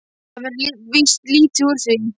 Það verður víst lítið úr því.